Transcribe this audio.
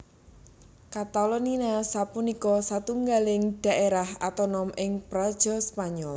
Katalonia sapunika satunggiling dhaérah otonom ing praja Spanyol